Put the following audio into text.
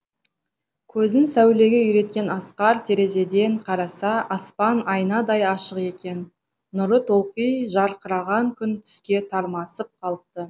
көзін сәулеге үйреткен асқар терезеден қараса аспан айнадай ашық екен нұры толқи жарқыраған күн түске тармасып қалыпты